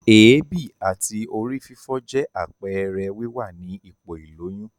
Èébì àti orí fífọ́ jẹ́ àpẹẹrẹ wíwà ni ipò ìlóyún.